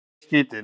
skýt ég inn.